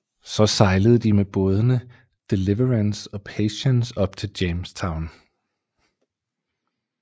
Så sejlede de med bådene Deliverance og Patience op til Jamestown